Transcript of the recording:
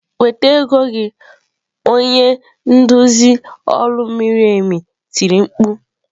"Weta ego gị" onye nduzi olu miri emi tiri mkpu.